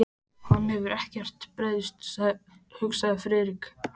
Hann hefur ekkert breyst, hugsaði Friðrik.